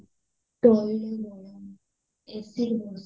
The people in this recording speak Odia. AC bus